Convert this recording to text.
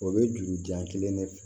O bɛ juru jan kelen ne fɛ